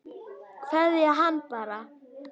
Kveðja hann bara.